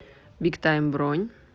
биг тайм бронь